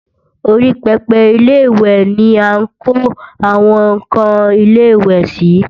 Orí pẹpẹ Ilé-ìwẹ̀ ni à ń kó àwọn ǹkan ilẹ̀-ìwẹ̀ sí